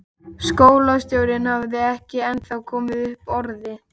Skólastjórinn hafði ekki ennþá komið upp orði.